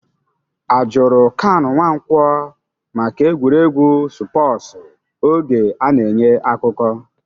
A jụrụ Kanu Nwankwo maka egwuregwu spọsu oge a na-enye akụkọ?